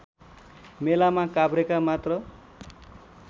मेलामा काभ्रेका मात्र